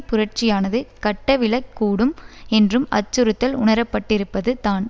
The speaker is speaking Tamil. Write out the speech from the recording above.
புரட்சியானது கட்டவிழக் கூடும் என்றும் அச்சுறுத்தல் உணரப்பட்டிருப்பது தான்